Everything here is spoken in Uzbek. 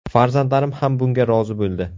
Farzandlarim ham bunga rozi bo‘ldi.